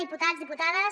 diputats diputades